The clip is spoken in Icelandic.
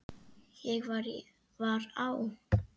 Ég var á